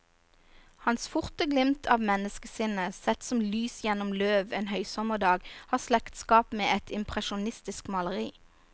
Hans forte glimt av menneskesinnet, sett som lys gjennom løv en høysommerdag, har slektskap med et impresjonistisk maleri.